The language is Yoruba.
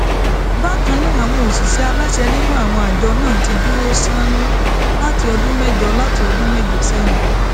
bákan náà àwọn òṣìṣẹ aláṣẹ nínú àwọn àjọ náà ti dúró sánún láti ọdún mẹjọ láti ọdún mẹjọ sẹyìn